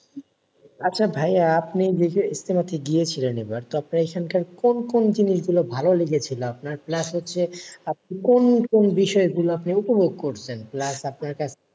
আচ্ছা ভাইয়া আপনি যে ইজতেমা তে গিয়েছিলেন এইবার। তো আপনার কোন কোন জিনিসগুলো ভালো লেগেছিল আপনার? plus হচ্ছে আপনি কোন কোন বিষয়গুলো আপনি উপভোগ করছেন? plus আপনার কাছে,